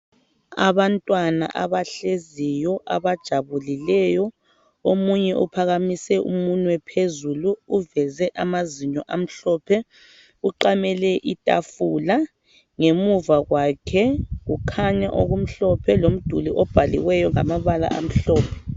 Abantwana abahleziyo abajabulileyo omunye uphakamise umunwe phezulu uveze amazinyo amhlophe uqamele itafula ngemuva kwakhe kukhanya okumhlophe lomduli obhalileyo ngamabala amhlophe.